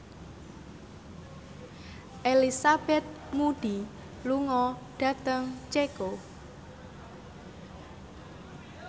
Elizabeth Moody lunga dhateng Ceko